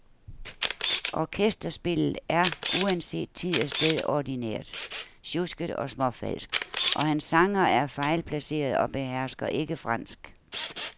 Orkesterspillet er uanset tid og sted ordinært, sjusket og småfalsk, og hans sangere er fejlplacerede og behersker ikke fransk.